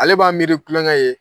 Ale b'a miiri kulonkɛ ye.